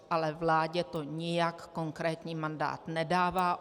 Ale vládě to nijak konkrétní mandát nedává.